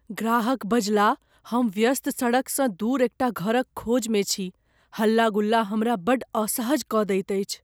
ग्राहकबजलाह, "हम व्यस्त सड़कसँ दूर एकटा घरक खोजमे छी, हल्ला गुल्ला हमरा बड्ड असहज कऽ दैत अछि।"